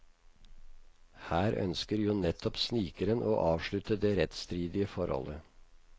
Her ønsker jo nettopp snikeren å avslutte det rettsstridige forholdet.